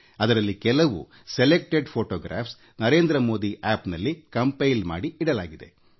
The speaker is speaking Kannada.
ಅದರಲ್ಲಿ ಕೆಲವು ಆಯ್ದ ಫೋಟೋಗಳನ್ನು ಹೆಕ್ಕಿ NarendraModiApp ನಲ್ಲಿ ಅಪ್ ಲೋಡ್ ಮಾಡಲಾಗಿದೆ